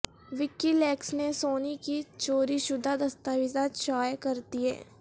وکی leaks نے Sony کی چوری شدہ دستاویزات شائع کر دیں